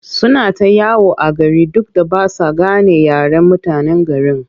Suna ta yawo a gari duk da ba sa gane yaren mutanen garin.